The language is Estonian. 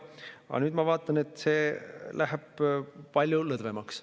Aga nüüd ma vaatan, et see läheb palju lõdvemaks.